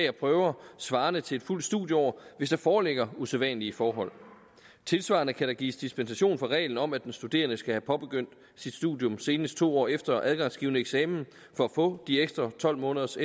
og prøver svarende til et fuldt studieår hvis der foreligger usædvanlige forhold tilsvarende kan der gives dispensation fra reglen om at den studerende skal have påbegyndt sit studium senest to år efter adgangsgivende eksamen for at få de ekstra tolv måneders